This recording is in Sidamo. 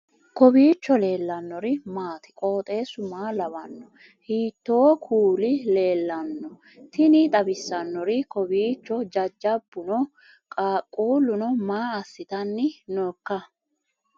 kowiicho leellannori maati ? qooxeessu maa lawaanno ? hiitoo kuuli leellanno ? tini xawissannori kowiicho jajjabbuno qaaquullunno maa assitanni noooika